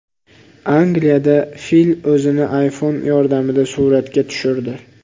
Angliyada fil o‘zini iPhone yordamida suratga tushirdi.